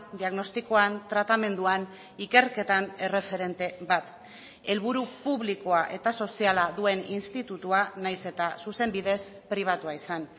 diagnostikoan tratamenduan ikerketan erreferente bat helburu publikoa eta soziala duen institutua nahiz eta zuzenbidez pribatua izan